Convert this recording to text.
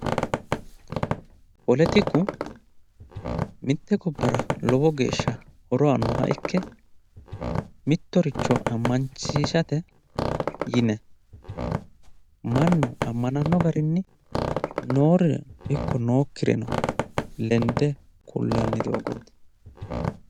poletiku mitte gobbara horo aannoha ikke mittoricho ammansiisate yine mannu ammananno garinni noore ikko nookkire lende kullanni doogooti.